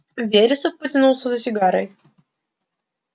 вересов потянулся за сигарой